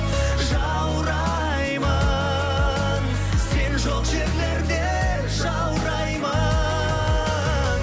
жаураймын сен жоқ жерлерде жаураймын